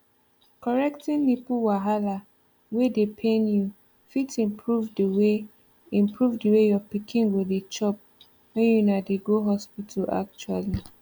correcting nipple wahala wey dey pain you fit improve the way improve the way your pikin go dey chop when una dey go hospital actually